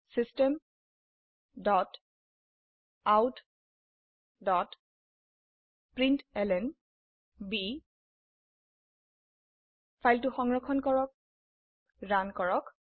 system dot out dot println ফাইলটি সংৰক্ষণ কৰক ৰান কৰক